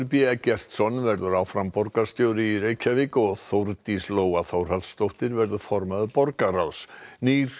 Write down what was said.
b Eggertsson verður áfram borgarstjóri í Reykjavík og Þórdís Lóa Þórhallsdóttir verður formaður borgarráðs nýr